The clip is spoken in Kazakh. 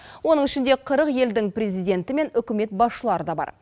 оның ішінде қырық елдің президенті мен үкімет басшылары да бар